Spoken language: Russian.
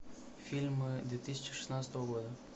фильмы две тысячи шестнадцатого года